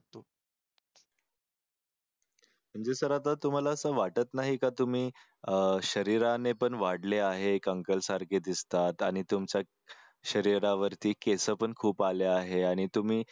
म्हणजे सर आता तुम्हाला असं वाटत नाही का तुम्ही शरीराने तर वाढले आहे कंकाळ सारखे दिसतात आणि तुमचा शरीरावरती केसपण खूप आले आहेत आणि तुम्ही